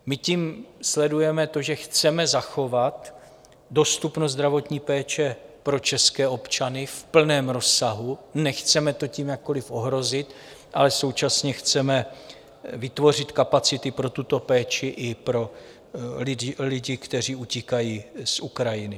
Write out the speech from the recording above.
My tím sledujeme to, že chceme zachovat dostupnost zdravotní péče pro české občany v plném rozsahu, nechceme to tím jakkoliv ohrozit, ale současně chceme vytvořit kapacity pro tuto péči i pro lidi, kteří utíkají z Ukrajiny.